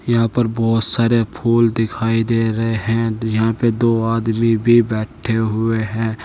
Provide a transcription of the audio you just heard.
यहां पर बहुत सारे फूल दिखाई दे रहे हैं यहां पे दो आदमी भी बैठे हुए हैं।